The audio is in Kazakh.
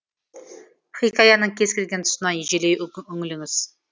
хикаяның кез келген тұсына ежелей үңіліңіз